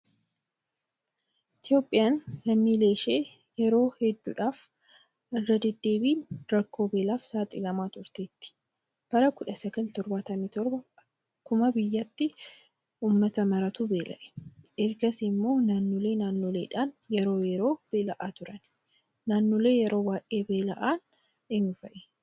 Itoophiyaan lammiileen ishee yeroo hedduudhaaf irra deddeebiin rakkoo beelaaf saaxilamaa turteetti. Bara 1977 akkuma biyyaatti uummata maraatu beela'e. Ergasii immoo naannolee naannoleedhaan yeroo yeroo beela'aa turan. Naannolee yeroo baay'ee beela'an eenyu fa'ii?